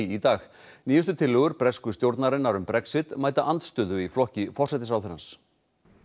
í dag nýjustu tillögur bresku stjórnarinnar um Brexit mæta andstöðu í flokki forsætisráðherrans